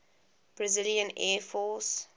brazilian air force